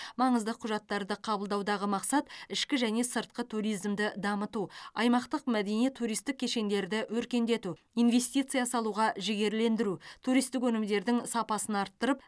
маңызды құжаттарды қабылдаудағы мақсат ішкі және сыртқы туризмді дамыту аймақтық мәдени туристік кешендерді өркендету инвестиция салуға жігерлендіру туристік өнімдердің сапасын арттырып